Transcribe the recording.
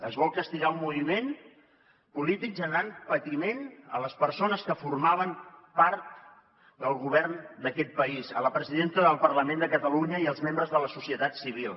es vol castigar un moviment polític generant patiment a les persones que formaven part del govern d’aquest país a la presidenta del parlament de catalunya i als membres de la societat civil